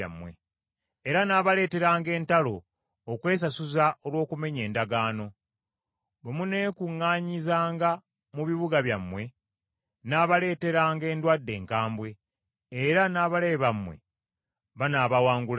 Era nnaabaleeteranga entalo okwesasuza olw’okumenya endagaano. Bwe muneekuŋŋaanyizanga mu bibuga byammwe, nnaabaleeteranga endwadde enkambwe, era n’abalabe bammwe banaabawangulanga.